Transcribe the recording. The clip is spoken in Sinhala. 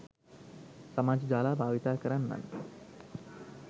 සමාජ ජාලා භාවිතා කරන්නන්